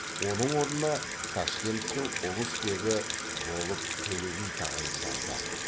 оның орнына ташкенттің ұлысбегі болып төле би тағайындалды